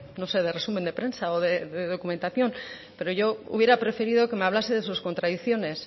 no sé de resumen de prensa o de documentación pero yo hubiera preferido que me hablase de sus contradicciones